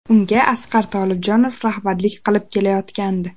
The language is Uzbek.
Unga Asqar Tolibjonov rahbarlik qilib kelayotgandi.